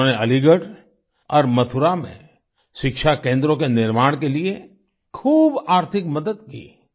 उन्होंने अलीगढ़ और मथुरा में शिक्षा केंद्रों के निर्माण के लिए खूब आर्थिक मदद की